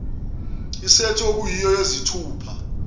isethi okuyiyo yezithupha